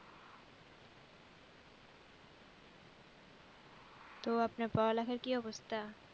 তো আপনার পড়ালেখার কি অবস্থা?